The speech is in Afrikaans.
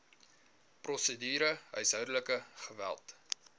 prosedure huishoudelike geweld